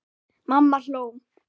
Mamma hló.